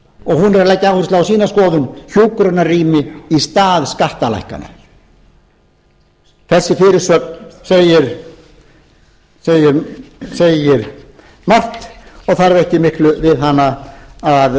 og hún er að leggja áherslu á sína skoðun hjúkrunarrými í stað skattalækkana þessi fyrirsögn segir margt og þarf ekki miklu við hana að